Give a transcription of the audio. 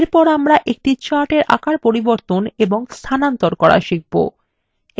এরপর আমরা একটি chartএর আকার পরিবর্তন এবং স্থানান্তর করা শিখবো